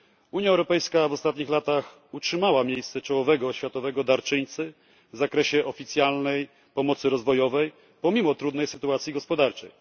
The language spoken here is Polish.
Unia Europejska w ostatnich latach utrzymała miejsce czołowego światowego darczyńcy w zakresie oficjalnej pomocy rozwojowej pomimo trudnej sytuacji gospodarczej.